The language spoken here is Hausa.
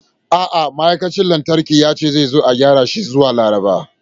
A'a, ma'aikacin lantarki ya ce zai zo a gyara shi zuwa Laraba.